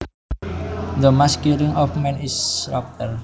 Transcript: The mass killing of men is slaughter